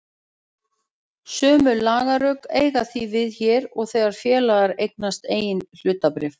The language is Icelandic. Sömu lagarök eiga því við hér og þegar félag eignast eigin hlutabréf.